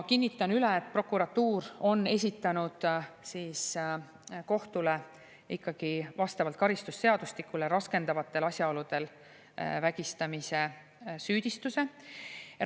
Kinnitan üle, et prokuratuur on vastavalt karistusseadustikule esitanud kohtule raskendavatel asjaoludel vägistamise süüdistuse.